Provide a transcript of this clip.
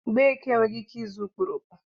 Mgbeke enweghị ike ịzụ okporoko.